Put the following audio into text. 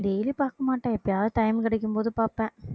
daily பாக்க மாட்டேன் எப்பயாவது time கிடைக்கும் போது பாப்பேன்